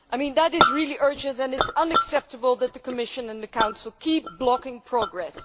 This is really urgent, and it is unacceptable that the Commission and the Council keep blocking progress.